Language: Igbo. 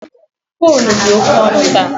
Fụ́élú dị oke ọnụ taa